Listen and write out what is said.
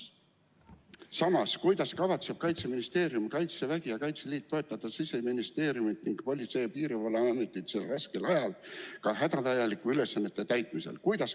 Samas, kuidas kavatsevad Kaitseministeerium, Kaitsevägi ja Kaitseliit toetada Siseministeeriumi ning Politsei- ja Piirivalveametit sel raskel ajal hädavajalike ülesannete täitmisel?